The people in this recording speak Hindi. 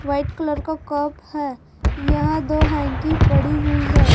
व्हाइट कलर का कप है यहां दो हैंकी पड़ी हुई है।